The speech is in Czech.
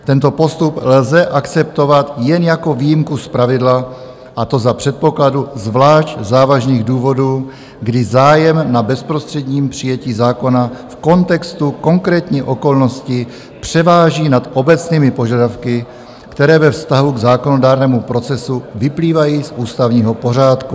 Tento postup lze akceptovat jen jako výjimku z pravidla, a to za předpokladu zvlášť závažných důvodů, kdy zájem na bezprostředním přijetí zákona v kontextu konkrétní okolnosti převáží nad obecnými požadavky, které ve vztahu k zákonodárnému procesu vyplývají z ústavního pořádku.